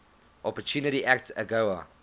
opportunity act agoa